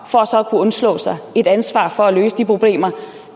for så at kunne undslå sig et ansvar for at løse de problemer